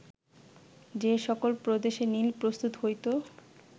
যে সকল প্রদেশে নীল প্রস্তুত হইত